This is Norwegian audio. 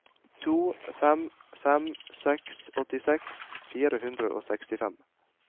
to fem fem seks åttiseks fire hundre og sekstifem